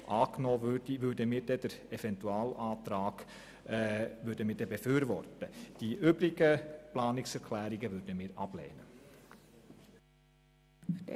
Deshalb würden wir den Eventualantrag befürworten, sollte die Planungserklärung Guggisberg angenommen werden.